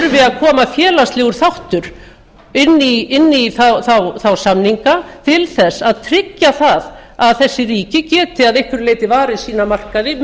koma félagslegur þáttur inn í þá samninga til að tryggja að þessi ríki geti að einhverju leyti varið sína markaði á